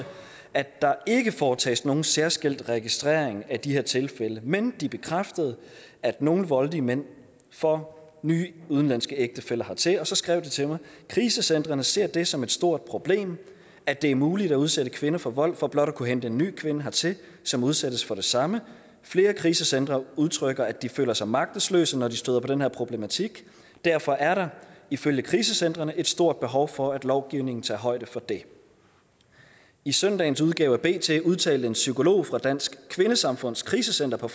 at der ikke foretages nogen særskilt registrering af de her tilfælde men de bekræftede at nogle voldelige mænd får nye udenlandske ægtefæller hertil og så skrev de til mig krisecentrene ser det som et stort problem at det er muligt at udsætte kvinder for vold for blot at kunne hente en ny kvinde hertil som udsættes for det samme flere krisecentre udtrykker at de føler sig magtesløse når de støder på den her problematik derfor er der ifølge krisecentrene et stort behov for at lovgivningen tager højde for det i søndagens udgave af bt udtalte en psykolog fra dansk kvindesamfunds krisecenter på